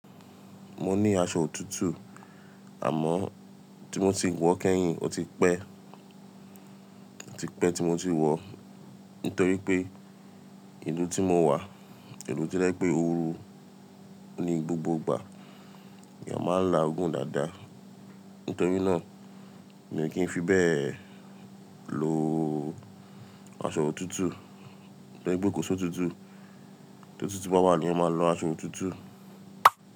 Mo ní aṣọ òtútù àmọ́ tí mo ti wọ̀ kẹ́yìn ó ti pẹ́, ó ti pẹ́ tí mo ti wọ̀ nítorí pé ìlú tí mo wà, ìlú to jẹ pé òru ni gbogbo ìgbà, eeyán máa ń laagùn dáadáa. Nítorí náà, mi kí n fi bẹ́ẹ̀ lo aṣọ òtútù, pé gbogo òsùn tútù, t'òtútù bá wà ní ẹeyan máa lo aṣọ òtútù.